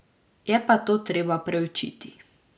Je pa to treba preučiti.